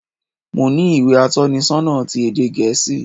Mo ní ìwé atónisonà ti ède gèésì